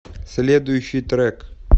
следующий трек